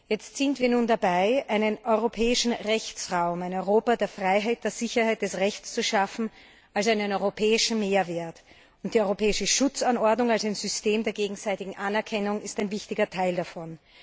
Jetzt sind wir dabei, einen europäischen Rechtsraum, ein Europa der Freiheit, der Sicherheit und des Rechts als einen europäischen Mehrwert zu schaffen. Und die Europäische Schutzanordnung als ein System der gegenseitigen Anerkennung ist ein wichtiger Teil davon.